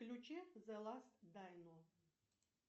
включи зе ласт дайно